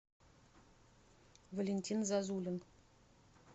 валентин зазулин